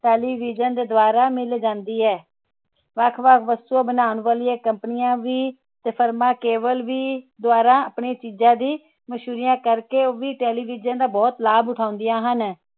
television ਦੇ ਮਿਲ ਜਾਂਦੀ ਹੈ ਵੱਖ ਵੱਖ ਵਸਤਾ ਬਣਾਉਣ ਵਾਲਿਆਂ company ਵੀ firm ਵੀ cable ਰਹੀ ਆਪਣੀ ਮਸ਼ਹੂਰੀ ਕਰਕੇ television ਦਾ ਬਹੁਤ ਲਾਭ ਉਠਾਂਦਿਆਂ ਹਨ